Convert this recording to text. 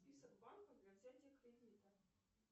список банков для взятия кредита